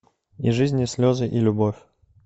и жизнь и слезы и любовь